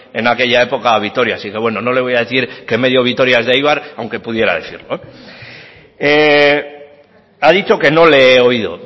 en aquella época a vitoria así que bueno no le voy a decir que medio vitoria es de eibar aunque pudiera decirlo ha dicho que no le he oído